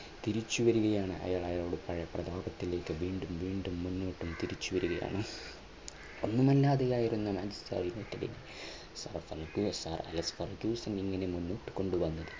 തിരിച്ചുവരികയാണ് അയാൾ അയാളുടെ പ്രതാപത്തിലേക്ക് വീണ്ടും വീണ്ടും മുന്നോട്ട് തിരിച്ചുവരികയാണ് ഒന്നുമല്ലാതെ ആയിരുന്ന മാഞ്ചസ്റ്റർ യുണൈറ്റഡിനെ ഇങ്ങനെ മുന്നോട്ടു കൊണ്ടുവന്നത്